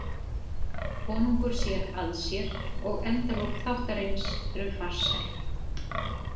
Konungur sér að sér og endalok þáttarins eru farsæl.